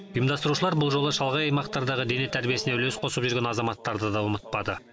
ұйымдастырушылар бұл жолы шалғай аймақтардағы дене тәрбиесіне үлес қосып жүрген азаматтарды да ұмытпады